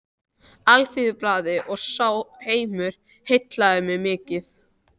Alþýðublaðinu og sá heimur heillaði mig mikið.